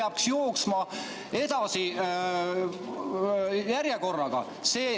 See peaks jooksma edasi järjekorraga.